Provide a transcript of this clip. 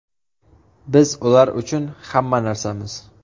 Biz ular uchun hamma narsamiz.